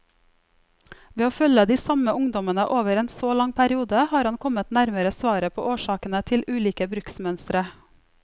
Ved å følge de samme ungdommene over en så lang periode, har han kommet nærmere svaret på årsakene til ulike bruksmønstre.